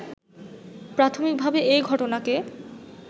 প্রাথমিকভাবে এ ঘটনাকে